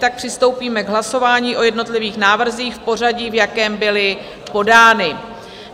Tak přistoupíme k hlasování o jednotlivých návrzích v pořadí, v jakém byly podány.